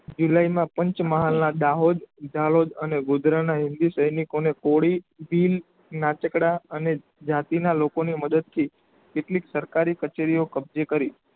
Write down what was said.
ઇલયમાં પાંચમહાલ ના દાહોદ દાહોદ અને ગુજરાતના હિંદી સૈનિકોને કોળી ભીલ નાચકડા અને જાતિના લોકોને મદદથી કેટલીક સરકારી કચેરીઓ કબ્જે કરી